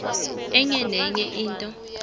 enye nenye into